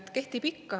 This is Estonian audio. Kehtib ikka.